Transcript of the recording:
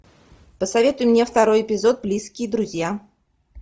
посоветуй мне второй эпизод близкие друзья